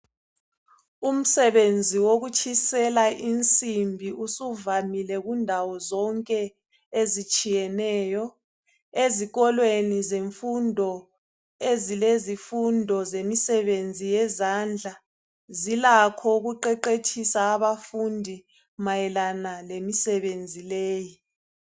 Umsebenzi wokutshisela insimbi usuvamile, kundawo zonke ezitshiyeneyo. Ezikolweni zemfundo, ezilezifundo, zemisebenzi yezandla. Zilakho ukuqeqetshisa abafundi mayelana, lemisebenzi leyi.